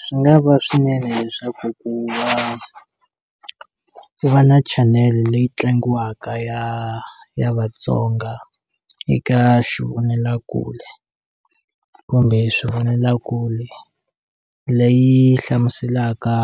Swi nga va swinene leswaku ku va ku va na channel leyi tlangiwaka ya ya vatsonga eka xivonelakule kumbe swivonelakule leyi hlamuselaka